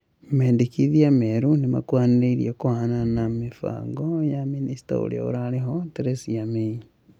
Mendikithia merũ nĩmakũhanĩrĩirie na kũhanana na yamĩbango ya mĩnĩsta ũrĩa ũrarĩ ho Theresa May.